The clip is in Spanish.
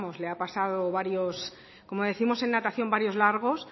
le ha pasado varios como décimos en natación varios largos